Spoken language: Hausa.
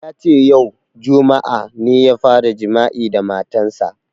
Yace yau, juma'a, ne ya fara jima'i da matan sa